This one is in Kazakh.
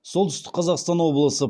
солтүстік қазақстан облысы